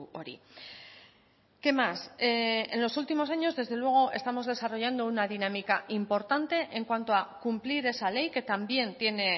hori qué más en los últimos años desde luego estamos desarrollando una dinámica importante en cuanto a cumplir esa ley que también tiene